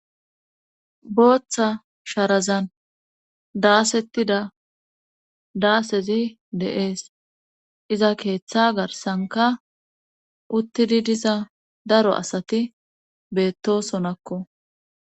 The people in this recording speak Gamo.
booththa sharazan daasettida daasezi de'ees iza keeththa garsanka uttidi diza daro asati beettosonakko